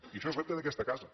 i això és repte d’aquesta casa